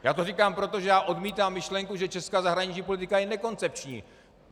Já to říkám, protože já odmítám myšlenku, že česká zahraniční politika je nekoncepční.